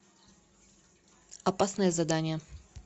опасное задание